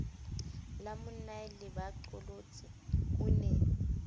la monnae lebaqolotsi o ne